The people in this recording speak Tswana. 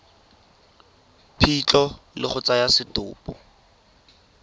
phitlho le go tsaya setopo